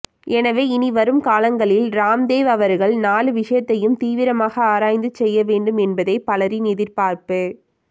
எனவே இனி வரும் காலங்களில் ராம்தேவ் அவர்கள் நாலு விஷயத்தையும் தீவிரமாக ஆராய்ந்து செய்ய வேண்டும் என்பதே பலரின் எதிர்பார்ப்பு